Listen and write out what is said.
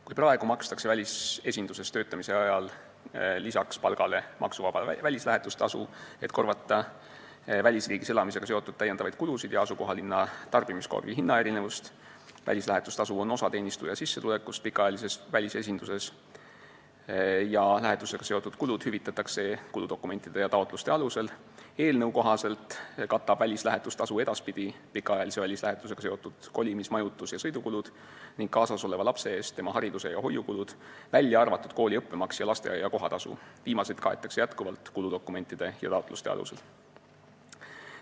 Kui praegu makstakse välisesinduses töötamise ajal palgale lisaks maksuvaba välislähetustasu, et korvata välisriigis elamisega seotud lisakulusid ja asukohalinna tarbimiskoha hinnaerinevust – see tasu on osa teenistuja sissetulekust pikaajalises välisesinduses ning lähetusega seotud kulud hüvitatakse kuludokumentide ja taotluste alusel –, siis eelnõu kohaselt katab välislähetustasu edaspidi pikaajalise välislähetusega seotud kolimis-, majutus- ja sõidukulud ning kaasas oleva lapse eest tema haridus- ja hoiukulud, välja arvatud kooli õppemaks ja lasteaia kohatasu, viimased kaetakse jätkuvalt kuludokumentide ja taotluste alusel.